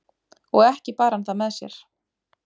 og ekki bar hann það með sér